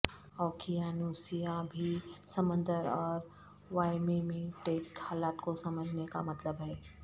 اوقیانوسیہ بھی سمندر اور وایمیمیٹک حالات کو سمجھنے کا مطلب ہے